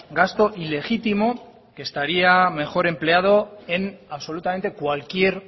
gasto ilegítimo que estaría mejor empleado en absolutamente cualquier